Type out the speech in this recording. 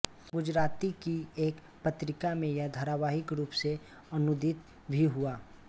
गुजराती की एक पत्रिका में यह धारावाहिक रूप से अनूदित भी हुआ